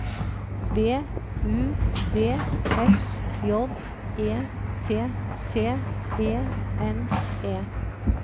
B U D S J E T T E N E